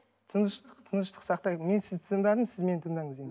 тыныштық тыныштық сақтайық мен сізді тыңдадым сіз мені тыңдаңыз енді